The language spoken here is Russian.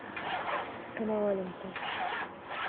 коноваленко